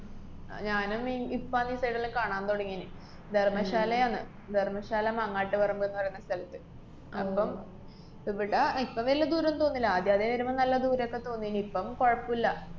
ആഹ് ഞാനും ഇ~ ഇപ്പാണ് ഈ side ല്ലാം കാണാന്‍ തുടങ്ങേന്. ധര്‍മ്മശാലയാണ്. ധര്‍മ്മശാല മങ്ങാട്ട്പറമ്പ്‌ എന്ന് പറേണ സ്ഥലത്ത്. അപ്പം ഇവിടെ ഇപ്പ വല്യ ദൂരൊന്നും തോന്നുന്നില്ല. ആദ്യാദ്യേ വരുമ്പ നല്ല ദൂരൊക്കെ തോന്നീന്. ഇപ്പം കൊഴപ്പോല്ല.